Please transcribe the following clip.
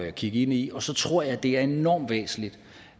at kigge ind i og så tror jeg det er enormt væsentligt